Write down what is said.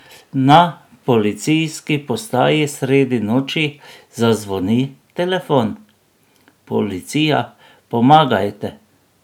Na policijski postaji sredi noči zazvoni telefon: ''Policija, pomagajte!